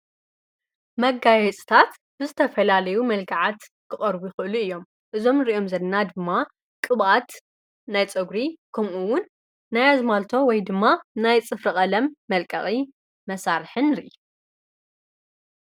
መጋየፅታት ብዝተፈላለዩ መልክዓት ክቀርቡ ይክእሉ እዮም። እዞም ንርእዮም ዘለና ድማ ቅብኣት ናይ ፀጉሪ ከምኡ'ውን ናይ ኣዝማልቶ ወይ ድማ ናይ ፅፍሪ ቀለም መልቀቒ መሳርሒ ንርኢ።